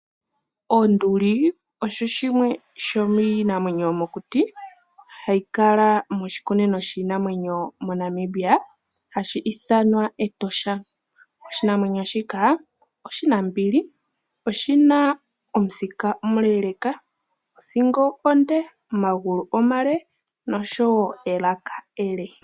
Onduli osho shimwe shominamwenyo yomokuti hayi kala moshikunino shinamwenyo moNamibia hashi ithanwa Etosha. Oshinamweyo shika oshinambili oshina omuthika omule leka othingo onde, omagulu omale nelaka ele.